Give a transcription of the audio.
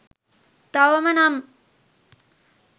තවම නම්